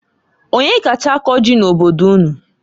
Onyee kacha akọ ji n'obodo unu?